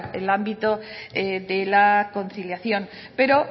el ámbito de la conciliación pero